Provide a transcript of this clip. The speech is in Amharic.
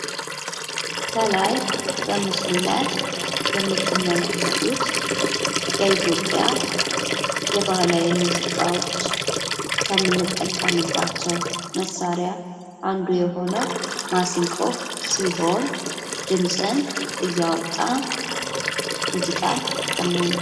ከላይ በምስሉ ላይ የምትመለከቱት በኢትዮጵያ የባህላዊ ሙዚቃዎች ከምንጠቀምባቸው መሳሪያ አንዱ የሆነው ማሲንቆ ሲሆን ድምጽን እያወጣ ሙዚቃ ያሰማናል።